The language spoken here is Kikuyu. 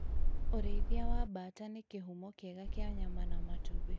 ũrĩithia wa mbata nĩ kĩhumo kĩega kĩa nyama na matumbĩ